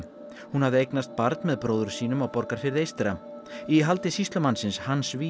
hún hafði eignaðist barn með bróður sínum á Borgarfirði eystra í haldi sýslumannsins Hans